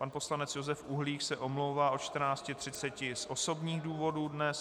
Pan poslanec Josef Uhlík se omlouvá od 14.30 z osobních důvodů dnes.